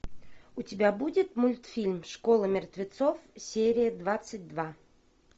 у тебя будет мультфильм школа мертвецов серия двадцать два